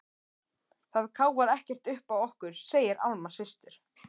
Það káfar ekkert uppá okkur, segir Alma systir.